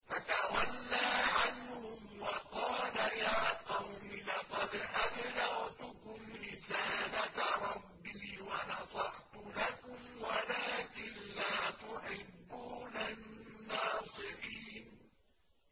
فَتَوَلَّىٰ عَنْهُمْ وَقَالَ يَا قَوْمِ لَقَدْ أَبْلَغْتُكُمْ رِسَالَةَ رَبِّي وَنَصَحْتُ لَكُمْ وَلَٰكِن لَّا تُحِبُّونَ النَّاصِحِينَ